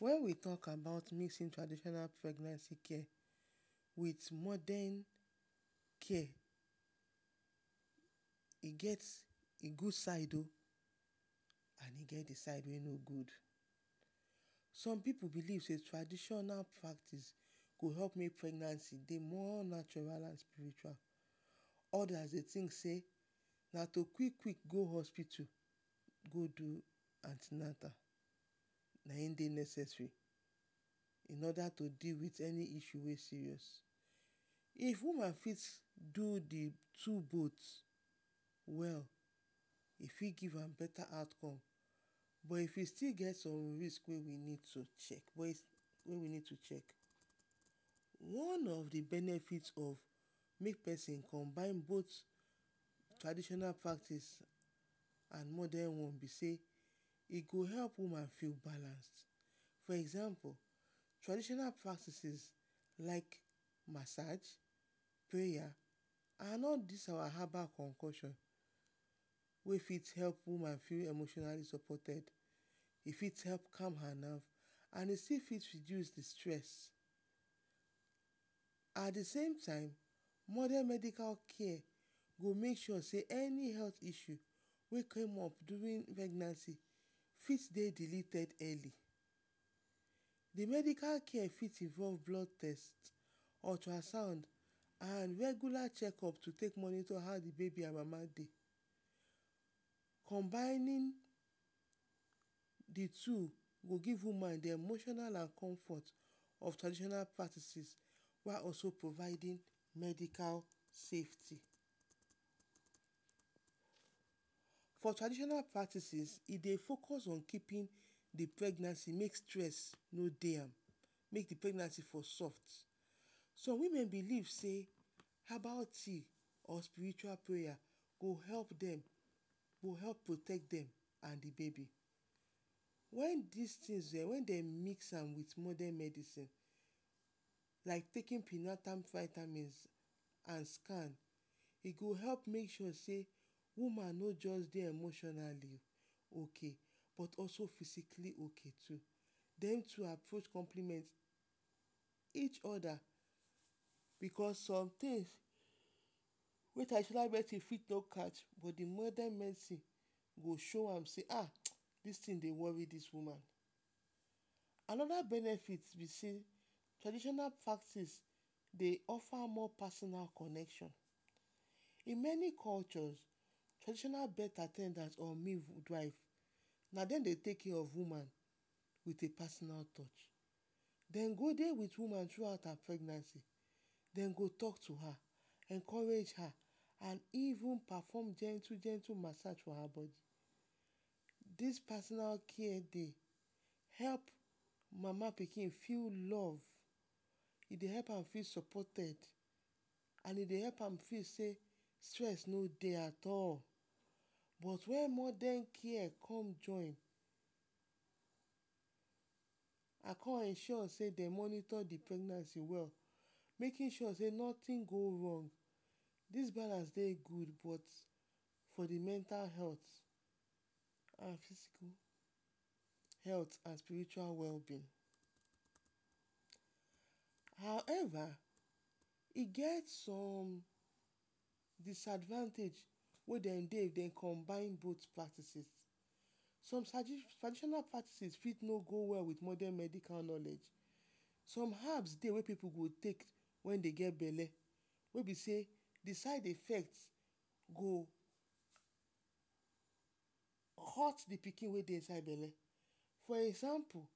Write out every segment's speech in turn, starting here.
Wen we talk about mixing traditional pregnancy care with modern care, e get the gud side o and e get the side wey no gud. Some pipu belief sey traditional practice go help may pregnancy dey more nautral and spiritual, odas dey tink sey na to quik quik go hospitu go do anti-natal na in dey necessary? In oda to deal with any issue wey dey serious. If woman fit do the two both well e fit give am beta outcome, but if e still get som risk wey we need to chek wey we need to chek. One of the benefit of make pesin combine both traditional practice and modern one be sey, e go help woman feel balanced. For example, traditional practices like masaj, prayer and all dis our habal konkosion wey fit help woman feel emotionally supported, e fit help calm her nerve and e fit still reduce the stress at the same time, modern medical care go make sure sey any medical issue wey came up durin pregnancy fit dey deleted early, the medical care fit involve blood test, ultrasound, and regular chekup to take monitor how the babi and mama dey. Combining the two go give woman the emotional and comfort of traditional practices, while also providing medical safety. For traditional practices, e dey focus on keepin pregnancy make stress no dey am, make the pregnancy for soft. Some women belief sey herbal tea or spiritual prayer go help dem, go help protect dem and the babi. Wen dis tin dem mix am with modern medicine, like taken pre-natal vitamins and scan, e go help make sure sey woman no just dey emotionally ok but also physically ok. Den to approach compliment each oda because sometins wey traditional medicine fit no catch, but modern medicine go show am sey ahhh, dis tin dey wori dis woman. Anoda benefit be sey, traditional practice dey offer more personal connection. In many culture, traditional birth at ten dance or midwife na dem dey take care of woman with a personal touch dem go dey with woman thru out her pregnancy, den go talk to her, encourage her and even perform gentu-gentu masaj for her body. Dis personal care dey help mama pikin feel love, e dey help am feel supported and e dey help am feel sey, stress no dey at all but wen modern care con join, I con ensure sey de monitor the pregnancy well. makin sure sey notin go wrong dis balance dey gud but for the mental and physical health and spiritual wellbeing. However, e get som disadvantage wey dem dey dey combine both practices, som traditional practices fit no go well with modern medicine, some habs dey wey pipu dey take wen dey get belle wey be sey the side effect fit hot the pikin wey dey inside belle, for example,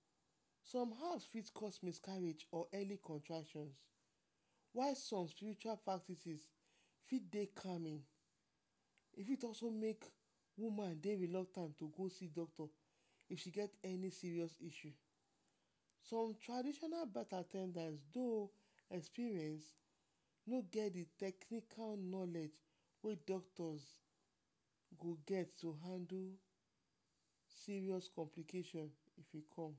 some habs fit cause miscarriage or early contraction while some spiritual practices fit dey calming, e fit also help woman dey reluctant to go see doctor if she get any serious issue, some traditional birth at ten dance though experience, no get the technical knowledge wey doctors go get to handle serious complication if e come.